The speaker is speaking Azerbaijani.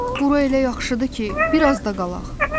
Bura elə yaxşıdır ki, bir az da qalaq.